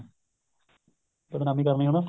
ਬਦਨਾਮੀ ਕਰਨੀ ਹਣਾ